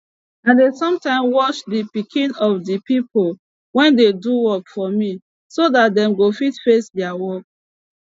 i dey some time watch de pikin of de pipo wey dey do work for me so dat dem go fit face deir work